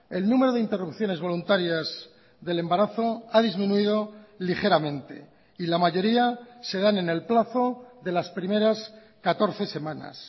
el número de interrupciones voluntarias del embarazo ha disminuido ligeramente y la mayoría se dan en el plazo de las primeras catorce semanas